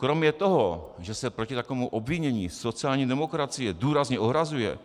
Kromě toho, že se proti takovému obvinění sociální demokracie důrazně ohrazuje,